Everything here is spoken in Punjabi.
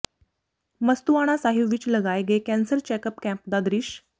ਮਸਤੂਆਣਾ ਸਾਹਿਬ ਵਿੱਚ ਲਗਾਏ ਗਏ ਕੈਂਸਰ ਚੈਕਅੱਪ ਕੈਂਪ ਦਾ ਦ੍ਰਿਸ਼